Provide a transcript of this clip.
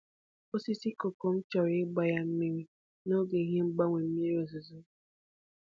Osisi koko m chọrọ ịgba ya mmiri n'oge n’ihi mgbanwe mmiri ozuzo.